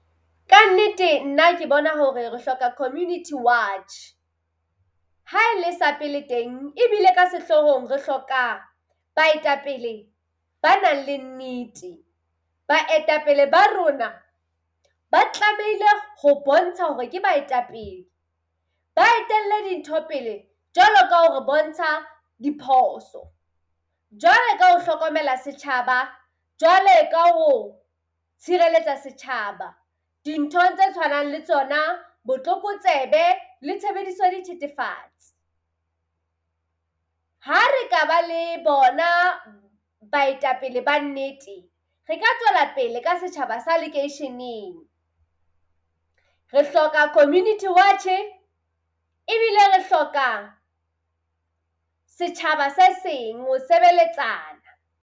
Kannete nna ke bona hore re hloka community watch. Ha e le sa pele teng ebile ka sehlohong re hloka baetapele ba nang le nnete. Baetapele ba rona ba tlamehile ho bontsha hore ke baetapele ba etelle dintho pele jwalo ka hore bontsha diphoso, jwalo ka ho hlokomela setjhaba, jwale ka ho tshireletsa setjhaba dinthong tse tshwanang le tsona botlokotsebe le tshebediso dithethefatsi. Ha re ka ba le bona baetapele ba nnete, re ka tswela pele ka setjhaba sa lekeisheneng. Re hloka community watch-e ebile re hloka setjhaba se seng ho sebeletsana.